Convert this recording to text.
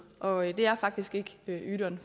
og det er faktisk ikke ydun